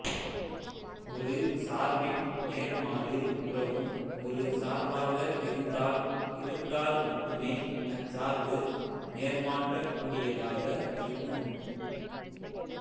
ஒரு சார்பின் நேர்மாறு உறவும் ஒரு சார்பாக இருந்தால் இருந்தால் மட்டுமே அச்சார்பு நேர்மாற்றக் கூடியதாக இருக்கும்